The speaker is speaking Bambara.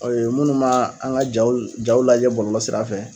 O ye minnu ma an ka jaw jaw lajɛ bɔlɔlɔ sirafɛ.